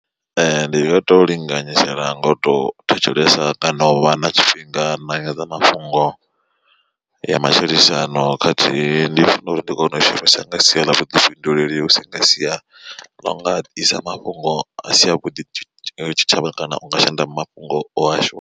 Ndi nga to linganyisela ngoto thetshelesa kana u vha na tshifhinga na nyanḓadzamafhungo ya matshilisano khathihi ndi funa uri ndi kone u shumisa nga sia ḽa vhuḓifhinduleli husi nga sia ḽo nga isa mafhungo a si avhuḓi tshitshavha kana u nga shanda mafhungo o a shu.